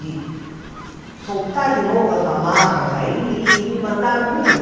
De soltar de novo as amarras aí e me mandar no mundo?